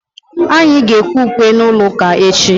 anyị ga-ekwe ukwe n'ụlọ ụka echi.